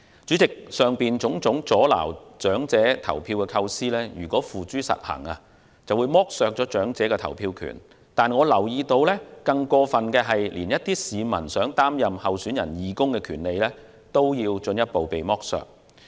主席，以上種種阻撓長者投票的構思，如付諸實行將剝削長者的投票權，但我留意到更過分的是，一些市民連擔任候選人義工的權利也被進一步剝削。